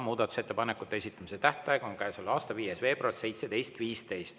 Muudatusettepanekute esitamise tähtaeg on käesoleva aasta 5. veebruar 17.15.